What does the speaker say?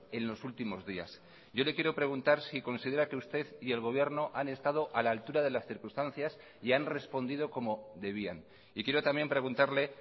en los últimos días yo le quiero preguntar si considera que usted y el gobierno han estado a la altura de las circunstancias y han respondido como debían y quiero también preguntarle